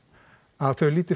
að þau líti